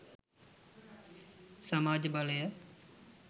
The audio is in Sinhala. සමාජ බලය